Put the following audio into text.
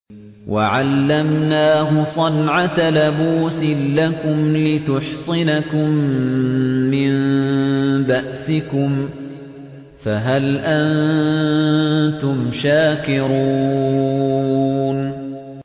وَعَلَّمْنَاهُ صَنْعَةَ لَبُوسٍ لَّكُمْ لِتُحْصِنَكُم مِّن بَأْسِكُمْ ۖ فَهَلْ أَنتُمْ شَاكِرُونَ